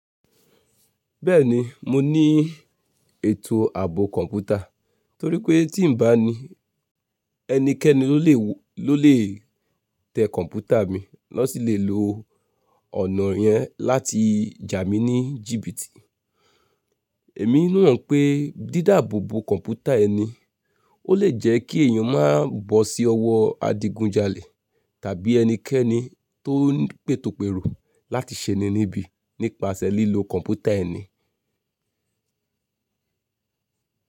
Bẹ́ẹ̀ni, mo ní ètò ààbò kọ̀ǹpútà. Torí pé tí n bá ní, ẹnikẹ́ni ni ó lè tẹ kọ̀ǹpútà mi, wọ́n sì lè lo ọ̀nà yẹn láti jà mí ní jìbìtì. Èmi mọ̀ pé dídáàbò bo kọ̀ǹpútà ẹni ó lè jẹ́ kí èèyàn má bọ́ sí ọwọ́ adigunjalè tàbí ẹnikẹ́ni tó ń pètòpèrò láti ṣe'ni níbi nípasẹ̀ lílo kọ̀ǹpútà ẹni.